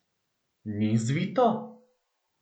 Ni zvito?